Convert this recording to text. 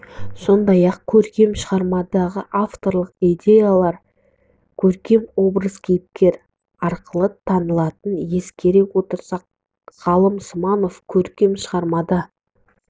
сондай-ақ көркем шығармадағы авторлық идеялар көркем образ кейіпкер арқылы танылатын ескере отырып ғалым сманов көркем шығармада